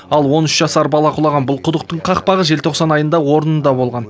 ал он үш жасар бала құлаған бұл құдықтың қақпағы желтоқсан айында орнында болған